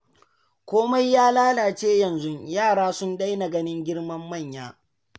Komai ya lalace yanzu, yara sun daina ganin girman manya.